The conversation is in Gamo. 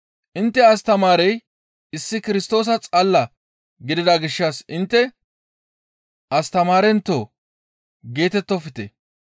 Intte astamaarey issi Kirstoosa xalla gidida gishshas intte, ‹Astamaarentoo!› geetettofte.